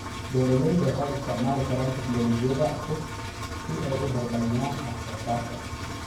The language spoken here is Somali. Beeralayda waxay isticmaali karaan tignoolajiyada cusub si ay u horumariyaan wax soo saarka.